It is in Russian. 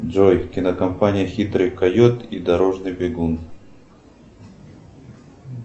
джой кинокомпания хитрый койот и дорожный бегун